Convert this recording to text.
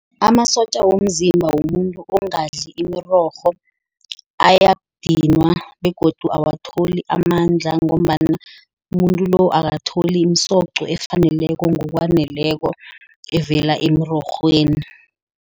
Amasotja womzimba womuntu ongadli imirorho ayandinwa. Begodu awutholi amandla ngombana umuntu lo akatholi imisoco efaneleko, ngokwaneleko evela emirorhweni.